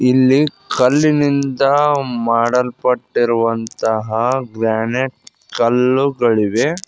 ಇಲ್ಲಿ ಕಲ್ಲಿನಿಂದ ಮಾಡಲ್ಪಟ್ಟಿರುವಂತ ಗ್ರಾನೆಟ್ ಕಲ್ಲುಗಳಿಗೆ--